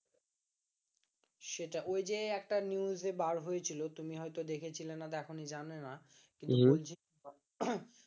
সেটাই ওই যে একটা news এ বার হয়েছিল তুমি হয়তো দেখেছিলে না দেখো নি কি জানিনা কিন্তু বলছি